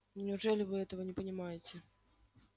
неужели вы этого не понимаете